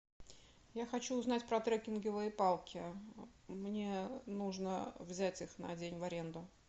я хочу узнать про трекинговые палки мне нужно взять их на день в аренду